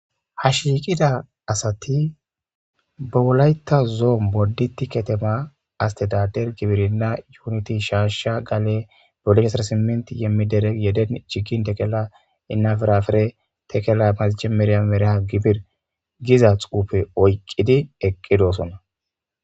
hashiqida asati bawulayta zoo bodi tiketema astidader gibirina yuuniti shaasha gale bolihesarsimenti yemmi dere yeden cigin tekela innafirafere tekella mazije mereya mereha gibir giza xuufe oyqqidi eqqidoosonna